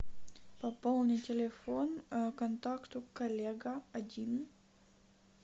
пополни телефон контакту коллега один